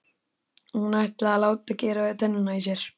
Og hún ætlaði að láta gera við tennurnar í sér.